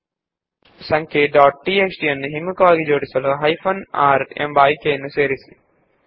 number dot TXT ನ್ನು ಇಳಿಕೆಯ ಕ್ರಮದಲ್ಲಿ ಜೋಡಿಸಲು ಹೈಫೆನ್ r ಆಯ್ಕೆಯನ್ನು ಸೇರಿಸಿ